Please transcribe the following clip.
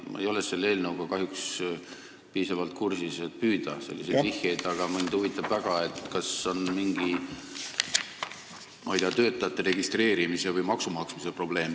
Ma ei ole selle eelnõuga kahjuks piisavalt kursis, et selliseid vihjeid tabada, aga mind huvitab väga, kas siin taga on mingi, ma ei tea, töötajate registreerimise või maksumaksmise probleem.